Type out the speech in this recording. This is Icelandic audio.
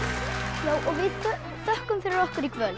já við þökkum fyrir okkur í kvöld